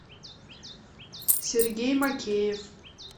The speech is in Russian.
сергей макеев